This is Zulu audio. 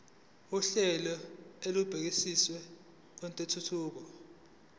uhlelo olubukeziwe lwentuthuko